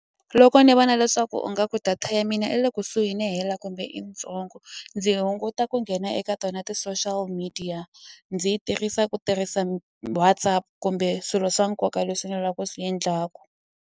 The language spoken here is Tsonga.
Loko ni vona leswaku u nga ku data ya mina i le kusuhi no hela kumbe i yitsongo ndzi hunguta ku nghena eka tona ti-social media ndzi yi tirhisa ku tirhisa WhatsApp kumbe swilo swa nkoka leswi ni la ku swi endlaku.